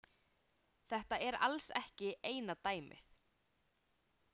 Þetta er alls ekki eina dæmið.